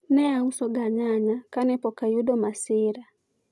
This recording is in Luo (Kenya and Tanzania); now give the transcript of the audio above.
ne auso ga nyanya kane pok ayudo masira